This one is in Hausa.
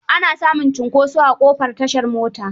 Ana samun cinkoso a ƙofar tashar mota.